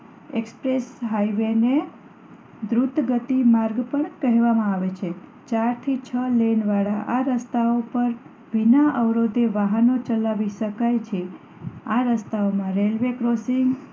express highway ને ધૃત ગતિ માર્ગ પણ કહેવામાં આવે છે ચાર થી છ લેન વાળા આ રસ્તાઓ પણ વિના અવરોધે વાહન ચલાવી શકાય છે આ રસ્તાઓમાં રેલ્વે ક્રોસિંગ